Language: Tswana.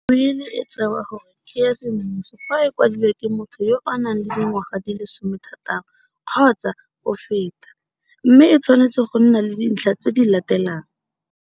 Wili e tsewa gore ke ya semmuso fa e kwadilwe ke motho yo a nang le dingwaga di le 16 kgotsa go feta, mme e tshwanetse go nna le dintlha tse di latelang.